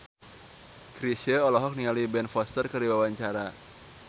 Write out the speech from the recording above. Chrisye olohok ningali Ben Foster keur diwawancara